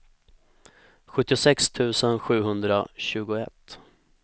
sjuttiosex tusen sjuhundratjugoett